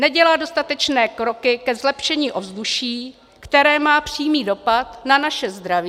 Nedělá dostatečné kroky ke zlepšení ovzduší, které má přímý dopad na naše zdraví.